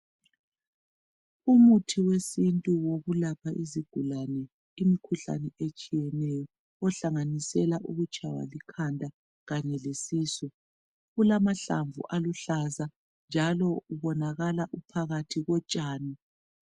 Umuthi wesintu wokulapha izigulane imikhuhlane etshiyeneyo ohlanganisela ukutshaywa likhanda kanye lesisu. Kulamahlamvu aluhlaza njalo ubonakala uphakathi kotshani.